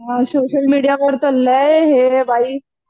हो social media वर तर लय हे आहे बाई